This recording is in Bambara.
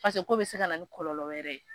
k'o bɛ se ka na ni kɔlɔlɔ wɛrɛ